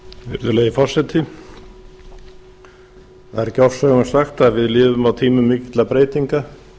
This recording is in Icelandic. virðulegi forseti það er ekki ofsögum sagt að við lifum á tímum mikilla breytinga